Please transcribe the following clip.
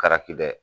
A karaki dɛ